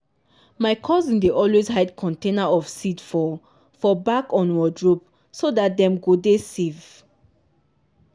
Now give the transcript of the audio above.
my cousin dey always hide container of seed for for back on wardrobe so dat dem go dey safe.